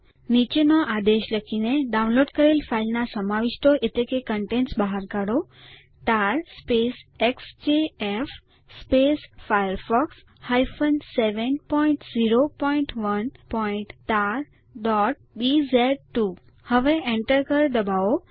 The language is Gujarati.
નીચેનો આદેશ લખીને ડાઉનલોડ કરેલ ફાઈલના સમાવિષ્ટો બહાર કાઢો તાર એક્સજેએફ firefox 701tarબીઝ2 હવે Enter કળ દબાવો